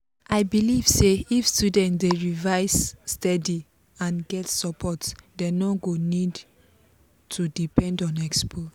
i believe say if students dey revise steady and get support dem no go need to depend on expo.